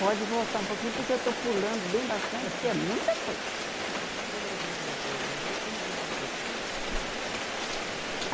Pode voltar um pouquinho, porque eu estou pulando bem bastante, porque é muita coisa. Quando vocês foram para o jardim Irene como que vocês conseguiram essa casa nova para poder sair. Ah